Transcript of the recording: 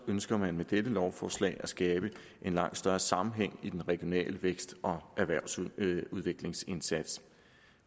ønsker man med dette lovforslag at skabe en langt større sammenhæng i den regionale vækst og erhvervsudviklingsindsats